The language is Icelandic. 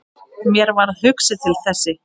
Mér varð hugsað til Þessi!